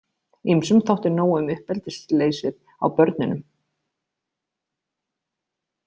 Ýmsum þótti nóg um uppeldisleysið á börnunum.